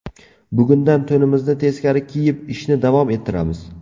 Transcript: Bugundan to‘nimizni teskari kiyib ishni davom ettiramiz.